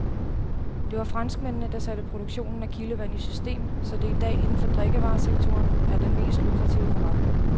Det var franskmændene, der satte produktionen af kildevand i system, så det i dag inden for drikkevaresektoren er den mest lukrative forretning.